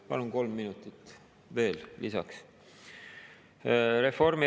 Palun kolm minutit veel lisaks.